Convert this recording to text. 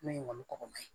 N'o ye kɔkɔma ye